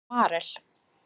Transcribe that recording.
Marel